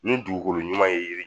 Ni dugukolo ɲuman ye i be